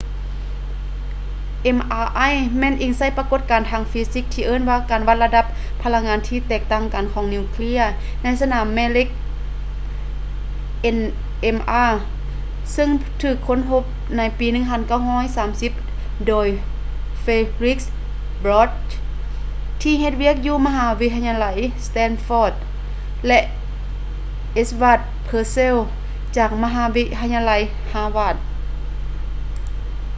mri ແມ່ນອີງໃສ່ປະກົດການທາງຟີຊິກທີ່ເອີ້ນວ່າການວັດລະດັບພະລັງງານທີ່ແຕກຕ່າງກັນຂອງນິວເຄຼຍໃນສະໜາມແມ່ເຫຼັກ nmr ເຊິ່ງຖືກຄົ້ນພົບໃນປີ 1930 ໂດຍ felix bloch ທີ່ເຮັດວຽກຢູ່ມະຫາວິທະຍາໄລ stanford ແລະ edward purcell ຈາກມະຫາວິທະຍາໄລ harvard